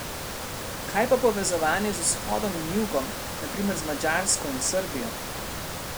Kaj pa povezovanje z vzhodom in jugom, na primer z Madžarsko in Srbijo?